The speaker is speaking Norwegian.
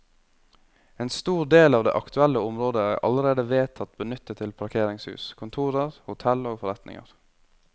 En stor del av det aktuelle området er allerede vedtatt benyttet til parkeringshus, kontorer, hotell og forretninger.